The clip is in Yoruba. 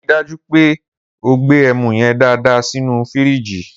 Ri dàjú pẹ ò gbe ẹmú yen dàdá sínù fírìgí